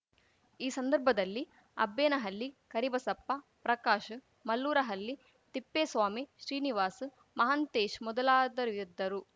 ಈ ಸಂದರ್ಭದಲ್ಲಿ ಅಬ್ಬೇನಹಳ್ಳಿ ಕರಿಬಸಪ್ಪ ಪ್ರಕಾಶ್‌ ಮಲ್ಲೂರಹಲ್ಲಿ ತಿಪ್ಪೇಸ್ವಾಮಿ ಶ್ರೀನಿವಾಸ್‌ ಮಹಂತೇಶ್‌ ಮೊದಲಾದರಿದ್ದರು